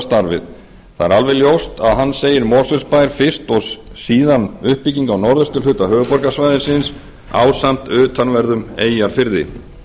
starfið það er alveg ljóst að hann segir mosfellsbær fyrst og síðan uppbygging á norðausturhluta höfuðborgarsvæðisins ásamt utanverðum eyjafirði